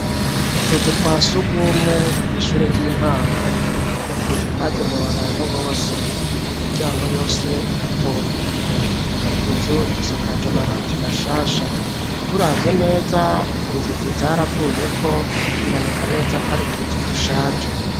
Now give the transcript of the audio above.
Utuzu twa surwumwe, kw’ishure ry'intango; ni utuzu twagenewe, abantu bose; imiryango yose irapfunguye, utuzu dusakaje, amabati mashasha, turavye neza, inzugi zaravuyeko, biboneka neza, ko ari utuzu dushaje.